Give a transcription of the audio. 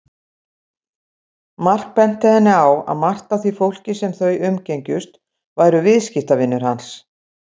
Mark benti henni á að margt af því fólki sem þau umgengjust væru viðskiptavinir hans.